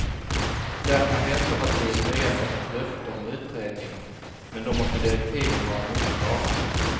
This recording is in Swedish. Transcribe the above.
Där kan vänsterpartiet nöja sig med ett löfte om utredning, men då måste direktiven vara mycket klara.